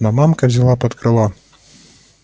но мамка взяла под крыло